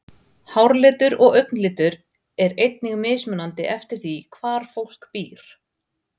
Háralitur og augnalitur er einnig mismunandi eftir því hvar fólk býr.